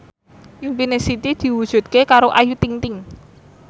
impine Siti diwujudke karo Ayu Ting ting